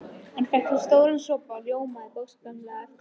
Hann fékk sér stóran sopa og ljómaði bókstaflega á eftir.